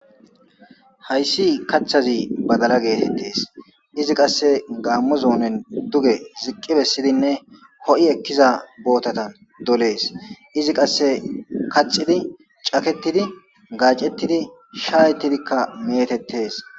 Haysi kathazi badala getetes izi qase Gamo zonen duge ziqi besidinne ho'i Eliza botatan doles izi qase kaxidi caketidi gacetidi shayetidika metetes